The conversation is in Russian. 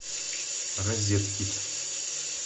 розетки